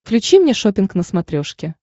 включи мне шоппинг на смотрешке